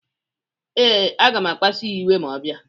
Ee, aga m akpasu ya iwe ma ọ bịa.